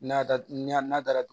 N'a da n'a dara